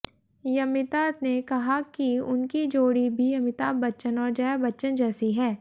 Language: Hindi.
यमिता ने कहा कि उनकी जोड़ी भी अमिताभ बच्चन और जया बच्चन जैसी है